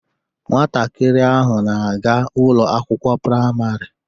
Nwatakịrị ahụ na-aga Ụlọ akwụkwọ praịmarị